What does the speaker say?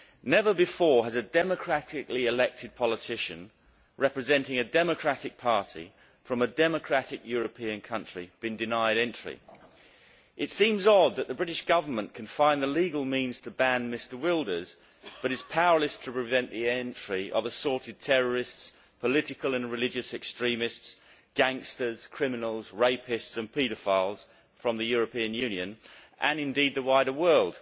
Never before has a democratically elected politician, representing a democratic party from a democratic European country, been denied entry. It seems odd that the British Government can find the legal means to ban Mr Wilders, but is powerless to prevent the entry of assorted terrorists, political and religious extremists, gangsters, criminals, rapists and paedophiles from the European Union and, indeed, the wider world.